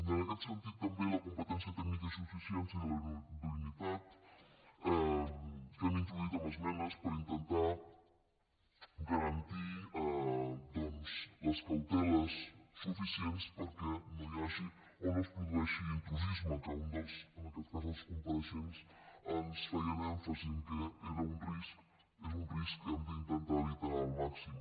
en aquest sentit també la competència tècnica i suficiència de la idoneïtat que hem introduït en esmenes per intentar garantir doncs les cauteles suficients perquè no hi hagi o no es produeixi intrusisme que en aquest cas els compareixents ens feien èmfasi que és un risc que hem d’intentar evitar al màxim